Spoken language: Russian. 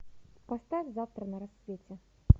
поставь завтра на рассвете